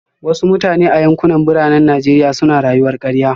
Wasu mutane a yankunan Birane na Najeriya suna rayuwar karya